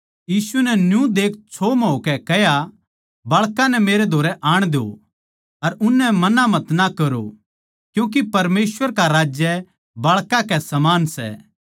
यीशु नै न्यू देख छोह् म्ह होकै कह्या बाळकां नै मेरै धोरै आण द्यो अर उननै मना मतना करो क्यूँके परमेसवर का राज्य बाळकां के समान सै